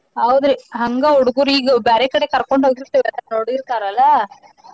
ಹೌದ್ ರೀ ಹಂಗ ಹುಡ್ಗುರು ಈಗ್ ಬ್ಯಾರೆ ಕಡೆ ಕರ್ಕೊಂಡ ಹೋಗಿರ್ತೆೇವಲ್ಲ ನೋಡಿರ್ತರಲ್ಲ.